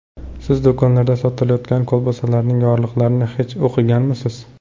Siz do‘konlarda sotilayotgan kolbasalarning yorliqlarini hech o‘qiganmisiz?